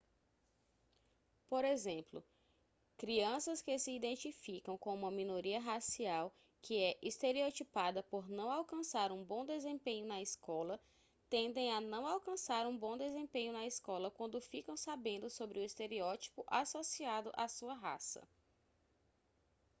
por exemplo crianças que se identificam com uma minoria racial que é estereotipada por não alcançar um bom desempenho na escola tendem a não alcançar um bom desempenho na escola quando ficam sabendo sobre o estereótipo associado à sua raça